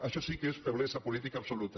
això sí que és feblesa política absoluta